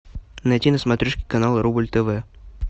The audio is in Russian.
найти на смотрешке канал рубль тв